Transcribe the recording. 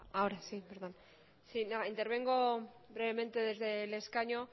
ahora sí perdón sí no intervengo brevemente desde el escaño